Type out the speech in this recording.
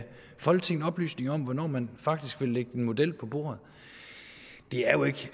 folketinget oplysninger om hvornår man faktisk vil lægge en model på bordet det er jo ikke